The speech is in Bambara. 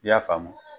I y'a faamu